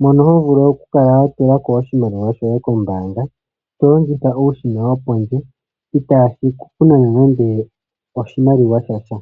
mono ho vulu oku kala wa tula ko oshimaliwa shoye kombaanga, to longitha uushina wo pondje, itaashi ku nana nande oshimaliwa shasha.